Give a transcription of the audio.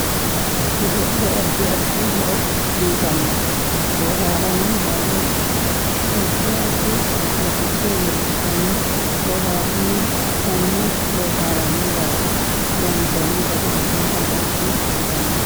Godo'le addi addi horo uyiitanno boohaaranni yannara adfi addi baxille leelishanni boohaarinni konne boohaarani dargga loonsooni gari addinta xagge ikkanno